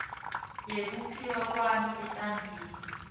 yekuphila kwami etandleni